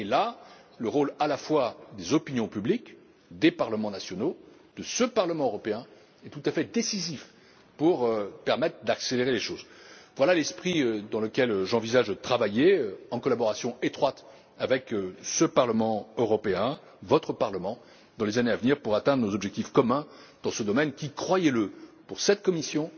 À cet égard, le rôle à la fois des opinions publiques, des parlements nationaux et de ce Parlement européen est tout à fait décisif pour permettre d'accélérer les choses. Voilà l'esprit dans lequel j'envisage de travailler en collaboration étroite avec ce Parlement européen, votre Parlement, dans les années à venir, pour atteindre nos objectifs communs dans ce domaine qui croyez le sera tout à fait prioritaire pour cette Commission.